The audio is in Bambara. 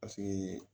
Paseke